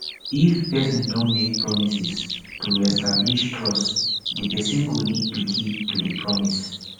if person don make promises to reestablish trust di person go need to keep to di promise